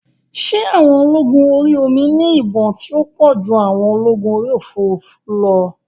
Ṣé àwọn ológun orí omi ní ìbọn tí ó pọ̀ ju àwọn ológun orí òfurufú lọ?